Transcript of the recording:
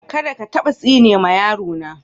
Kadda ka tabba tsine ma yaro na.